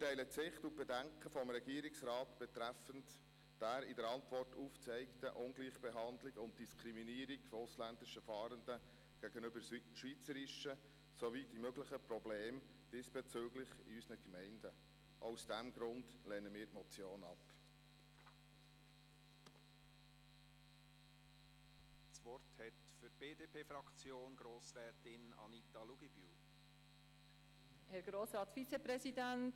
Wir teilen die Sicht und die Bedenken des Regierungsrats betreffend der Ungleichbehandlung und Diskriminierung ausländischer Fahrenden gegenüber schweizerischen Fahrenden, die er in der Antwort aufgezeigt hat, sowie der diesbezüglich möglichen Probleme in unseren Gemeinden.